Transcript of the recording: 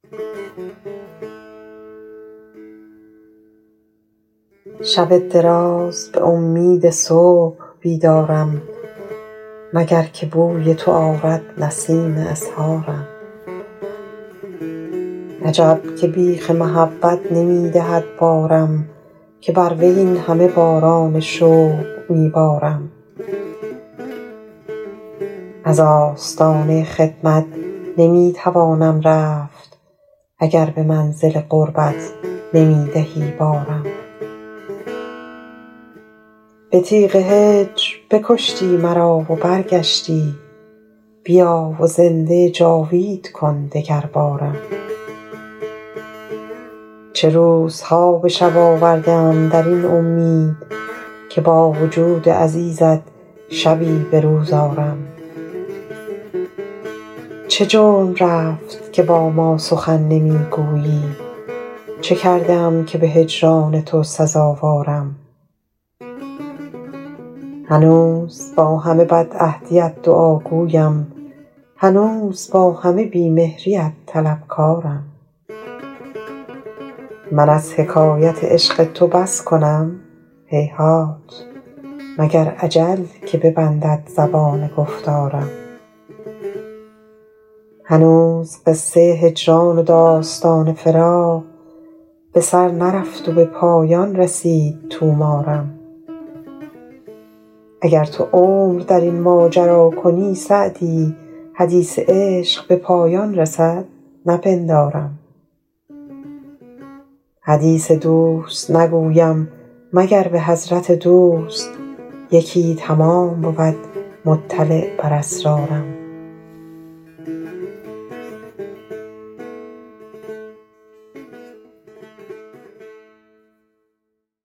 شب دراز به امید صبح بیدارم مگر که بوی تو آرد نسیم اسحارم عجب که بیخ محبت نمی دهد بارم که بر وی این همه باران شوق می بارم از آستانه خدمت نمی توانم رفت اگر به منزل قربت نمی دهی بارم به تیغ هجر بکشتی مرا و برگشتی بیا و زنده جاوید کن دگربارم چه روزها به شب آورده ام در این امید که با وجود عزیزت شبی به روز آرم چه جرم رفت که با ما سخن نمی گویی چه کرده ام که به هجران تو سزاوارم هنوز با همه بدعهدیت دعاگویم هنوز با همه بی مهریت طلبکارم من از حکایت عشق تو بس کنم هیهات مگر اجل که ببندد زبان گفتارم هنوز قصه هجران و داستان فراق به سر نرفت و به پایان رسید طومارم اگر تو عمر در این ماجرا کنی سعدی حدیث عشق به پایان رسد نپندارم حدیث دوست نگویم مگر به حضرت دوست یکی تمام بود مطلع بر اسرارم